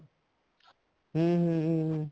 ਹਮ ਹਮ ਹਮ